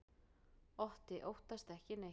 Otti óttast ekki neitt!